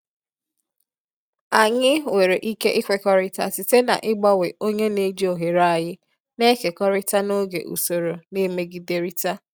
Anyị nwere ike ikwekọrịta site n'ịgbanwe onye na-eji oghere anyị na-ekekọrịta n'oge usoro na-emegiderịta.